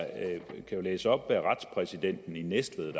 kan jo læse op hvad retspræsidenten i næstved